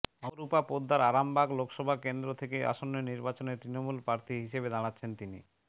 অপরূপা পোদ্দারআরামবাগ লোকসভা কেন্দ্র থেকে আসন্ন নির্বাচনে তৃণমূল প্রার্থী হিসেবে দাঁড়াচ্ছেন তিনি